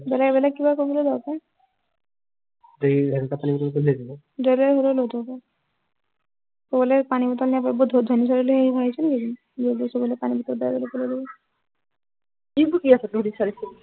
বেলেগ বেলেগ কিবা কৰিবলৈ লব পাৰে পানী বটল বৰ ধনি ছোৱালী বুলি ভাবিছনি এই জনিক কি বকি আছ তহতি